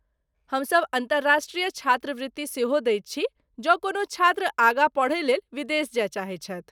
हमसभ अन्तर्राष्ट्रीय छात्रवृत्ति सेहो दैत छी जौं कोनो छात्र आगाँ पढ़यलेल विदेश जाय चाहैत छथि।